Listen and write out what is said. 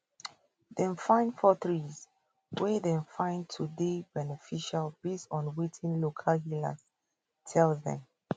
dem find four trees wey dem find to dey beneficial based on wetin local healers tell dem